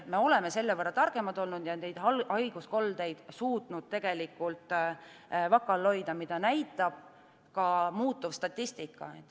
Nüüd oleme selle võrra targemad olnud ja suutnud haiguskoldeid vaka all hoida, mida näitab ka muutuv statistika.